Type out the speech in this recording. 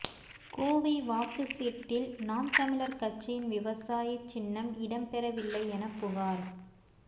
கோவை வாக்குச் சீட்டில் நாம் தமிழர் கட்சியின் விவசாயி சின்னம் இடம்பெறவில்லை என புகார்